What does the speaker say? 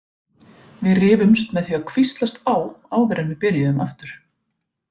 Við rifumst með því að hvíslast á áður en við byrjuðum aftur.